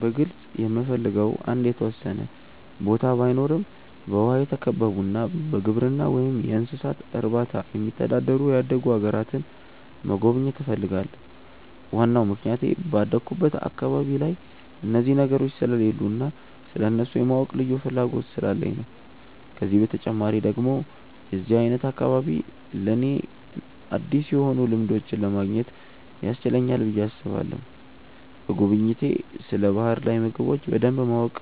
በግልጽ የምፈልገው አንድ የተወሰነ ቦታ ባይኖረም በውሃ የተከበቡና በግብርና ወይም እንስሳት እርባታ የሚተዳደሩ ያደጉ አገራትን መጎብኘት እፈልጋለሁ። ዋናው ምክንያቴ ባደኩበት አካባቢ ላይ እነዚህ ነገሮች ስለሌሉ እና ስለእነሱ የማወቅ ልዩ ፍላጎት ስላለኝ ነው። ከዚህ በተጨማሪ ደግሞ የዚህ አይነት አካባቢ ለኔ አዲስ የሆኑ ልምዶችን ለማግኘት ያስችለናል ብዬ አስባለሁ። በጉብኝቴ ስለ ባህር ላይ ምግቦች በደንብ የማወቅ